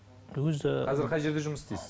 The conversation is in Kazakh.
өзі қазір қай жерде жұмыс істейсіз